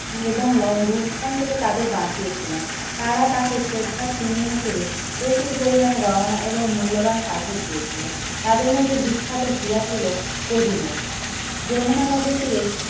এবং ললুন্ঠন থেকে তাদের বাঁচিয়েছিল। তারা তাকে শ্রদ্ধার চিহ্ন হিসেবে প্রচুর পরিমাণে গহনা এবং মূল্যবান পাথর দিয়েছিল তাদের মধ্যে বিখ্যাত হীরা ছিল কোহিনুর। যমুনা নদীর তীরে